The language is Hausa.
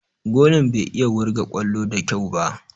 Golan bai iya wurga ƙwallo da kyau ba.